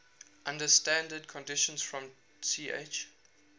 under standard conditions from ch